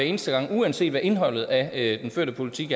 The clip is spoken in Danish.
eneste gang uanset hvad indholdet af den førte politik